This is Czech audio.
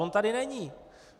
On tady není.